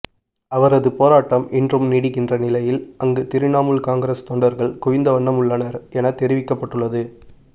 அவரது போராட்டம் இன்றும் நீடிக்கின்ற நிலையில் அங்கு திரிணாமுல் காங்கிரஸ் தொண்டர்கள் குவிந்தவண்ணம் உள்ளனர் எனத் தெரிவிக்கப்பட்டுள்ளது